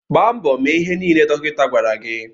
Gbaa mbọ mee ihe nile dọkịta gwara gị.